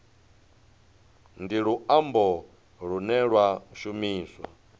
ndi luambo lune lwa shumiswa